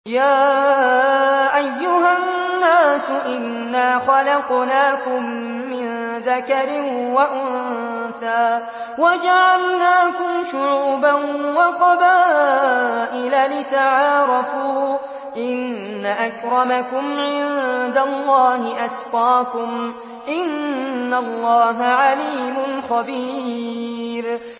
يَا أَيُّهَا النَّاسُ إِنَّا خَلَقْنَاكُم مِّن ذَكَرٍ وَأُنثَىٰ وَجَعَلْنَاكُمْ شُعُوبًا وَقَبَائِلَ لِتَعَارَفُوا ۚ إِنَّ أَكْرَمَكُمْ عِندَ اللَّهِ أَتْقَاكُمْ ۚ إِنَّ اللَّهَ عَلِيمٌ خَبِيرٌ